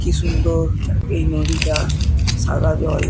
কি সুন্দর এই নদীটা সাদা জল।